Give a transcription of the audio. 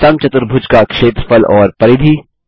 समचतुर्भुज का क्षेत्रफल और परिधि